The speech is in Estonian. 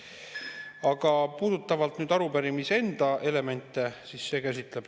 Aga puudutan nüüd arupärimise enda elemente.